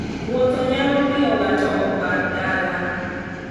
Wuoth nyalo miyo ng'ato opar dala.